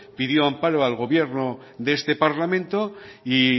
pidió amparo al gobierno de este parlamento y